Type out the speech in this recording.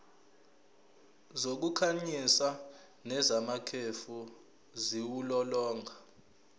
zokukhanyisa nezamakhefu ziwulolonga